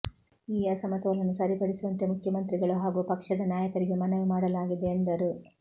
ಈ ಅಸಮತೋಲನ ಸರಿಪಡಿಸುವಂತೆ ಮುಖ್ಯಮಂತ್ರಿಗಳು ಹಾಗೂ ಪಕ್ಷದ ನಾಯಕರಿಗೆ ಮನವಿ ಮಾಡಲಾಗಿದೆ ಎಂದರು